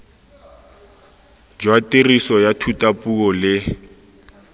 jwa tiriso ya thutapuo le